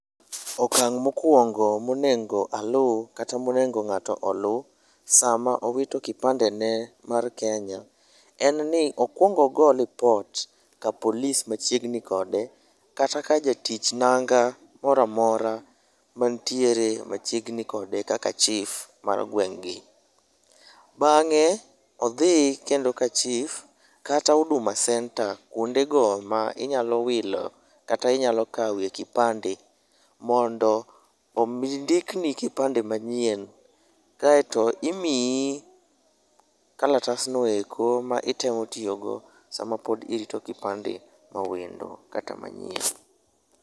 Okang' mokwongo monego aluw kata monego ng'ato oluw sama owito kipandene mar Kenya en ni okwongo ogo ripot ka polis machiegni kode, kata ka jatich nanga mora mora manitiere machiegni kode kaka chief mar gweng'gi. Bang'e, odhi kendo ka chief kata Huduma centre, kwondego ma inyalo wilo kata inyalo kawe kipande mondo ondikni kipande manyien. Kaeto imiyi kalatasno eko, ma itemo tiyogo sama pod itemo rito kipande mawendo kata manyien.